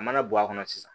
A mana bɔ a kɔnɔ sisan